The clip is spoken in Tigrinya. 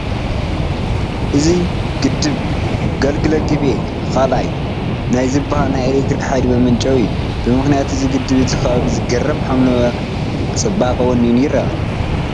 እዚ ግድብ ግልገል ግቤ 2 ናይ ዝበሃል ናይ ኤለክትሪክ ሓይሊ መመንጨዊ እዩ፡፡ ብምኽንያት እዚ ግድብ እቲ ከባቢ ዝገርም ሓምለዋይ ፅባቐ ወኒኑ ይርአ ኣሎ፡፡